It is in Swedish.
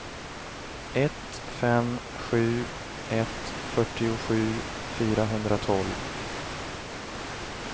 ett fem sju ett fyrtiosju fyrahundratolv